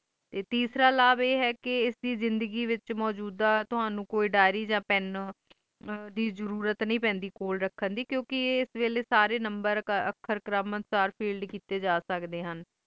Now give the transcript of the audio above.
ਤੇ ਤੀਸਰਾ ਲਾਵ ਆਈ ਹੈ ਕ ਐਡੀ ਜ਼ਿੰਦਗੀ ਵਿਚ ਮਜੋਦਾ ਕੋਈ ਡਾਇਰੀ ਆ ਪੇਂ ਦੀ ਜਾਰੋਰਾਤ ਨੇ ਪੈਂਦੈ ਕੋਲ ਰੱਖਣ ਡੀ ਕਿਉਂਕਿ ਐਸ ਵੈਲੀ ਸਾਰੇ ਨੰਬਰ ਆਖਰ ਕਰਾਮਾਤ ਤਾਰ feed ਕੀਤੀ ਜਾ ਸਕਦੇ ਹਨ